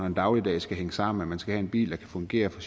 en dagligdag skal hænge sammen og man skal have en bil der kan fungere for